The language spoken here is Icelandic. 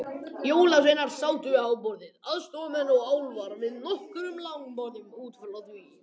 Jólasveinarnir sátu við háborðið, aðstoðarmenn og álfar við nokkur langborð út frá því.